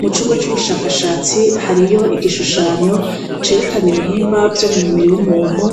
Mu cumuba c' ubushakashatsi hariho igishushanyo cerekana ibihimba vyo mu mubiri w' umuntu